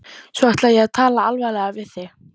Svo ætla ég að tala alvarlega við þig.